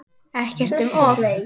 Ekkert um of.